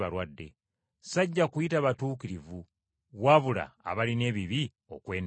Sajja kuyita batuukirivu wabula abalina ebibi okwenenya.”